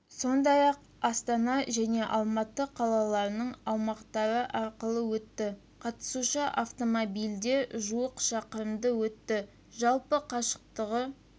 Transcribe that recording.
сондай-ақ астана және алматы қалаларының аумақтары арқылы өтті қатысушы автомобильде жуық шақырымды өтті жалпы қашықтығы